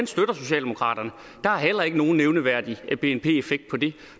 socialdemokraterne der er heller ikke nogen nævneværdig bnp effekt på det